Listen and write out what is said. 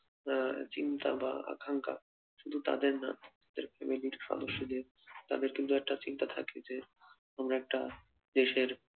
আহ চিন্তা বা আকাঙ্ক্ষা শুধু তাদের না সেরকম এই নীট সদস্যদের তাদের কিন্তু একটা চিন্তা থাকে যে আমরা একটা দেশের